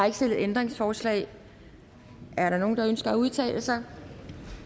ikke stillet ændringsforslag er der nogen der ønsker at udtale sig